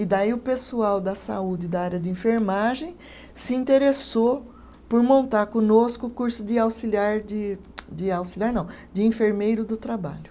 E daí o pessoal da saúde da área de enfermagem se interessou por montar conosco o curso de auxiliar, de de auxiliar não, de enfermeiro do trabalho.